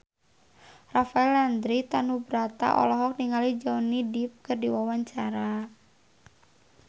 Rafael Landry Tanubrata olohok ningali Johnny Depp keur diwawancara